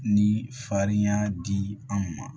Ni farinya di an ma